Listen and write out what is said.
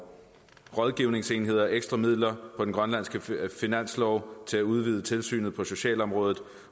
rådgivningsenheder ekstra midler på den grønlandske finanslov til at udvide tilsynet på socialområdet